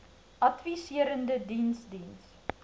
adviserende diens diens